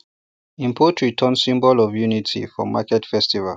him poultry turn symbol of unity for market festival